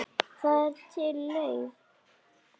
Það er til leið.